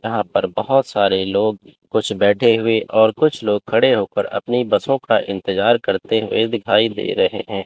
यहां पर बहोत सारे लोग कुछ बैठे हुए और कुछ लोग खड़े होकर अपनी बसों का इंतजार करते हुए दिखाई दे रहे हैं।